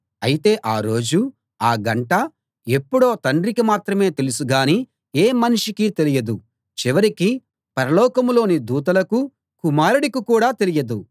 అయితే ఆ రోజు ఆ గంట ఎప్పుడో తండ్రికి మాత్రమే తెలుసు గానీ ఏ మనిషికీ తెలియదు చివరికి పరలోకంలోని దూతలకు కుమారుడికి కూడా తెలియదు